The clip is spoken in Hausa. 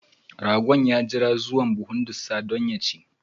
Ragon ya jira zuwa buhun ɗussa domin ya chi.